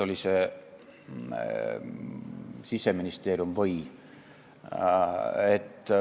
Oli ta Siseministeeriumist või?